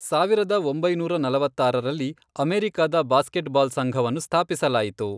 ಸಾವಿರದ ಒಂಬೈನೂರ ನಲವತ್ತಾರರಲ್ಲಿ ಅಮೇರಿಕಾದ ಬಾಸ್ಕೇಟ್ಬಾಲ್ ಸಂಘವನ್ನು ಸ್ಥಾಪಿಸಲಾಯಿತು.